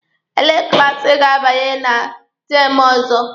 Elee klaasi Ị ga-abanye na teemụ ọzọ?